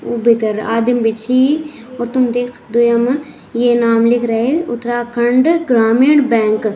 यु भितर आदिम भी छी और तुम देख सक्दो यामा ये नाम लिख रहें उत्तराखण्ड ग्रामीण बैंक ।